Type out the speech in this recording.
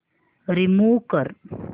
remove कर